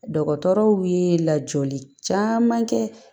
Dɔgɔtɔrɔw ye lajɔli caman kɛ